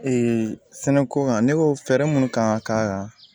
sɛnɛko kan ne ko fɛɛrɛ munnu kan ka